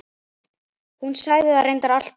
Hún sagði það reyndar alltaf.